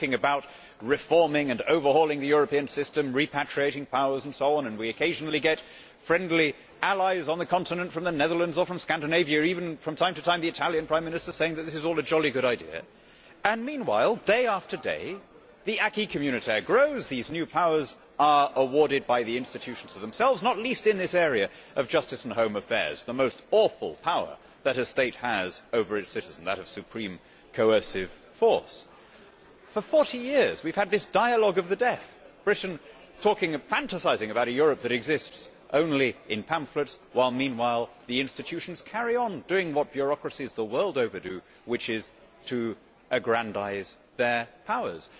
We are talking about reforming and overhauling the European system, repatriating powers and so on. We occasionally get friendly allies on the continent from the Netherlands or Scandinavia and even, from time to time, the Italian Prime Minister saying that this is all a jolly good idea. Meanwhile, day after day, the acquis communautaire grows, with new powers being awarded by the institutions to themselves, not least in this area of justice and home affairs and the most awful power that a state has over its citizens supreme coercive force. For 40 years we have had this dialogue of the deaf, with Britain talking and fantasising about a Europe that exists only in pamphlets, while meanwhile the institutions carry on doing what bureaucracies the world over do, which is to aggrandise their powers.